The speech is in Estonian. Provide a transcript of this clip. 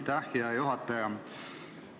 Aitäh, hea juhataja!